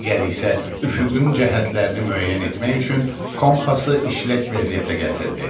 Digəri isə üfüqün cəhətlərini müəyyən etmək üçün kompası işlək vəziyyətə gətirdi.